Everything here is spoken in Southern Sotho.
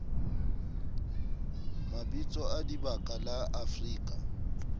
mabitso a dibaka la afrika